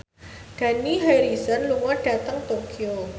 Dani Harrison lunga dhateng Tokyo